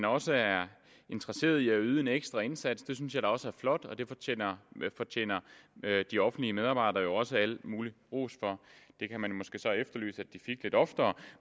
også er interesseret i at yde en ekstra indsats det synes jeg da også er flot og det fortjener de offentlige medarbejdere jo også al mulig ros for det kan man måske så efterlyse at de fik lidt oftere